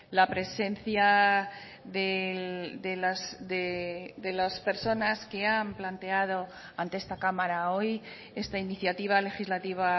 la presencia de las personas que han planteado ante esta cámara hoy esta iniciativa legislativa